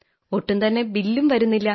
ഒട്ടും തന്നെ ബില്ലും വരുന്നില്ല